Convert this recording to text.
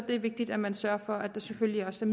er vigtigt at man sørger for at der selvfølgelig også